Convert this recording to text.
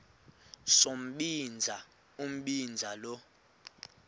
sombinza umbinza lo